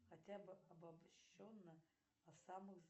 хотя бы обобщенно о самых